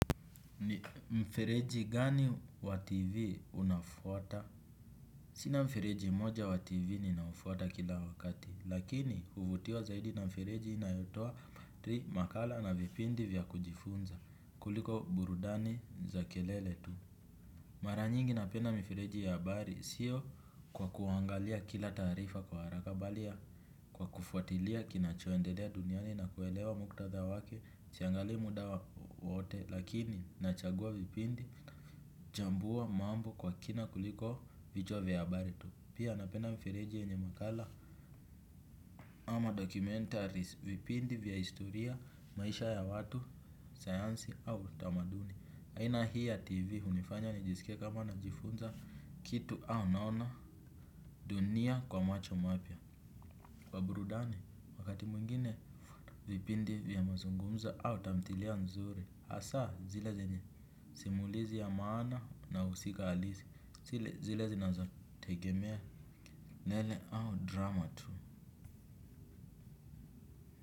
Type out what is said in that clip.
Ni mfireji gani wa tv unafuwata? Sina mfireji moja wativi ni nafuwata kila wakati, lakini huvutiwa zaidi na mfireji inayotua makala na vipindi vya kujifunza kuliko burudani za kelele tu. Mara nyingi na penda mfireji ya bari sio kwa kuangalia kila tarifa kwa haraka balia, kwa kufuatilia kinacho endelea duniani na kuelewa mkutatha wake, siangali muda waote lakini nachagua vipindi, jambua mambu kwa kina kuliko vijwa vya habari tu. Pia napenda mfireji inye makala ama dokumentaris vipindi vya historia, maisha ya watu, sayansi au tamaduni. Haina hii ya TV unifanya nijisike kama na jifunza kitu au naona dunia kwa macho mapya. Waburudani wakati mwingine vipindi vya mazungumza au tamtilia nzuri hasa zile zenye simulizi ya maana na usika halisi zile zinazatekemea nele au drama tu.